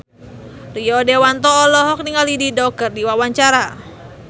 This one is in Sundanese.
Rio Dewanto olohok ningali Dido keur diwawancara